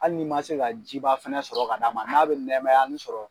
Hali ni man se ka ji ba fana sɔrɔ ka d'a ma n'a bɛ nɛmayanin sɔrɔ